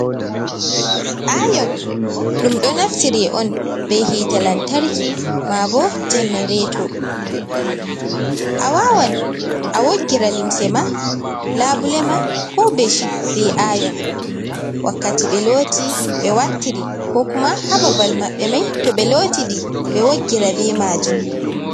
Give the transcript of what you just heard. Ayon ɗum ɗo naftire on be hiite lantarki, ma bo jannareto. A wawan awoggira limsema, labule ma, ko beshit be ayon. Wakkati ɓe looti ɓe wartiri ko kuma ha babal maɓɓe mai to ɓe lootide ɓe woggira be maajum.